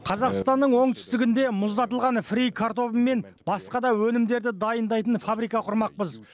қазақстанның оңтүстігінде мұздатылған фри картобы мен басқа да өнімдерді дайындайтын фабрика құрмақпыз